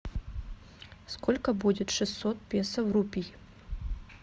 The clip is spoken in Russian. сколько будет шестьсот песо в рупий